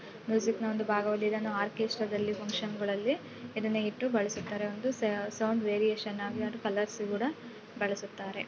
Music ನ ಒಂದು ಬಾಗವದು ಇದನ್ನು ಆರ್ಕೆಸ್ಟ್ರಾ ದಲ್ಲಿ ಫುನ್ಕ್ಷನ್ ಗಳಲ್ಲಿ ಇದನ್ನ ಇಟ್ಟು ಬಳಸುತ್ತಾರೆ ಒಂದು ಸೌ ಸೌಂಡ್ ವೇರಿಯೇಷನ್ ಆಗಿ ಅದು ಕಲರ್ಸ್ ಕೂಡ ಬಳಸುತ್ತಾರೆ.